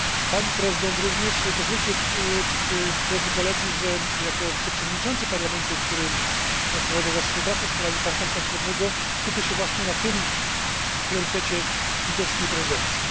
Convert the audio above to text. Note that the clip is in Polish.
Pani Prezydent! Pozwólcie, Drodzy Koledzy, że jako wiceprzewodniczący Parlamentu, który odpowiada za współpracę z krajami Partnerstwa Wschodniego, skupię się właśnie na tym priorytecie litewskiej prezydencji.